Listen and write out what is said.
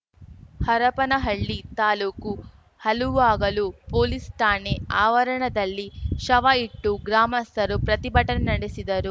Harapanahalli taluk Haluvagalu police ಠಾಣೆ ಆವರಣದಲ್ಲಿ ಶವ ಇಟ್ಟು ಗ್ರಾಮಸ್ಥರು ಪ್ರತಿಭಟನೆ ನಡೆಸಿದರು